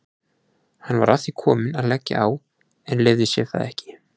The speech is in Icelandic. Hann var að því kominn að leggja á en leyfði sér það ekki.